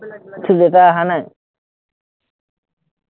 তোৰ দেউতা অহা নাই?